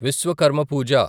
Vishwakarma పూజ